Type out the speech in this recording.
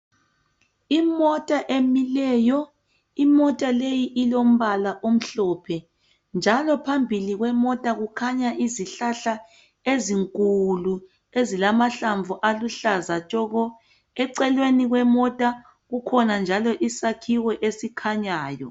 Imota emileyo. Imota leyi ilombala omhlophe njalo phambili kwemota kukhanya izihlahla ezinkulu ezilamahlamvu aluhlaza tshoko. Eceleni kwemota kukhona njalo izakhiwo esikhanyayo.